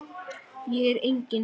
Ég er engin.